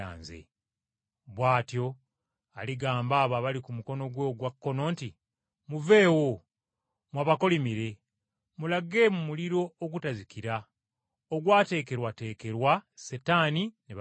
“Bw’atyo aligamba abo abali ku mukono gwe ogwa kkono nti, ‘Muveewo, mmwe abakolimire, mulage mu muliro ogutazikira ogwateekerwateekerwa Setaani ne bamalayika be.